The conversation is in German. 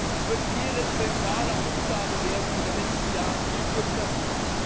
Es wird Ihre zentrale Aufgabe werden in den nächsten Jahren viel Glück dafür!